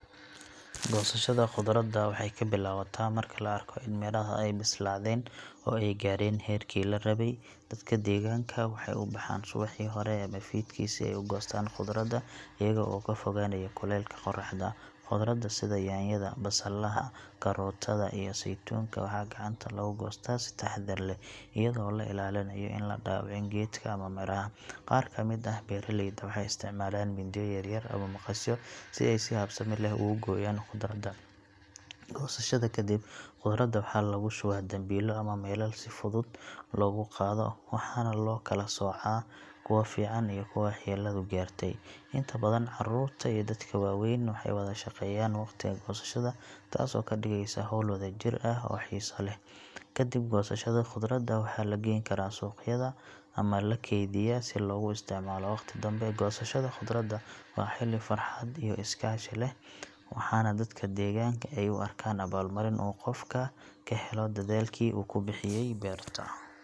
Goosashada khudradda waxay ka bilaabataa marka la arko in midhaha ay bislaadeen oo ay gaareen heerkii la rabay. Dadka deegaanka waxay u baxaan subaxii hore ama fiidkii si ay u goostaan khudradda iyaga oo ka fogaanaya kulaylka qorraxda. Khudradda sida yaanyada, basalaha, karootada iyo saytuunka waxaa gacanta lagu goostaa si taxaddar leh, iyadoo la ilaalinayo in la dhaawicin geedka ama midhaha. Qaar ka mid ah beeraleyda waxay isticmaalaan mindiyo yaryar ama maqasyo si ay si habsami leh ugu gooyaan khudradda. Goosashada ka dib, khudradda waxaa lagu shubaa dambiilo ama weelal si fudud loogu qaado, waxaana loo kala soocaa kuwa fiican iyo kuwa waxyeelladu gaartay. Inta badan carruurta iyo dadka waaweyn waxay wada shaqeeyaan waqtiga goosashada, taasoo ka dhigaysa hawl wadajir ah oo xiiso leh. Kadib goosashada, khudradda waxaa la geyn karaa suuqyada ama la keydiyaa si loogu isticmaalo waqti dambe. Goosashada khudradda waa xilli farxad iyo is-kaashi leh, waxaana dadka deegaanka ay u arkaan abaalmarin uu qofku ka helo dadaalkii uu ku bixiyay beerta.